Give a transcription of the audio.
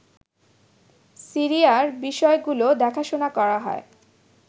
সিরিয়ার বিষয়গুলো দেখাশুনা করা হয়